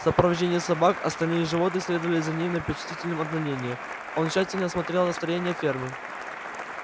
в сопровождении собак остальные животные следовали за ним на почтительном отдалении он тщательно осмотрел строения фермы